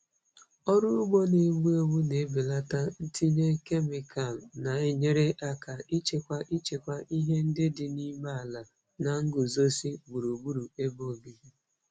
Ọrụ ugbo na-egbu egbu na-ebelata ntinye kemịkalụ, na-enyere aka ichekwa ichekwa ihe ndị dị n'ime ala na nguzozi gburugburu ebe obibi.